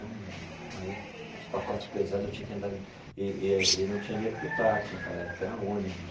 Aí é os pacotes pesados, eu tinha que andar... E e não tinha dinheiro para o táxi naquela época, era ônibus.